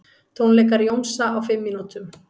Tónleikar Jónsa á fimm mínútum